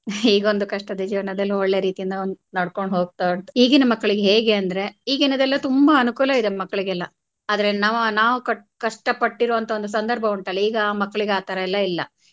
ಈಗೊಂದು ಕಷ್ಟದ ಜೀವನದಲ್ಲಿ ಒಳ್ಳೆ ರೀತಿಯಲ್ಲಿ ಒಂದ್ ನಡ್ಕೊಂಡ್ ಹೋಗ್ತಾ ಉಂಟು ಈಗಿನ್ ಮಕ್ಕಳಿಗೆ ಹೇಗೆ ಅಂದ್ರೆ ಈಗಿನದೆಲ್ಲ ತುಂಬಾ ಅನುಕೂಲ ಇದೆ ಮಕ್ಕಳಿಗೆಲ್ಲಾ ಆದ್ರೆ ನವ~ ನಾವು ಕಷ್ಟಪಟ್ಟಿರುವಂತ ಒಂದು ಸಂದರ್ಭ ಉಂಟಲ್ಲಾ ಈಗ ಮಕ್ಕಳಿಗೆ ಆತರಾ ಎಲ್ಲಾ ಇಲ್ಲ.